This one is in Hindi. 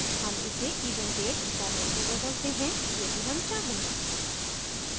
हम इसे event date format में बदलते हैं यदि हम चाहें